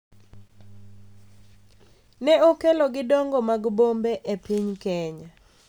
Ne okelo gi dongo mag bombe e piny Kenya.